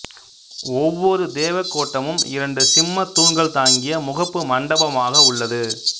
ஒவ்வொரு தேவகோட்டமும் இரண்டு சிம்மத் தூண்கள் தாங்கிய முகப்பு மண்டபமாக உள்ளது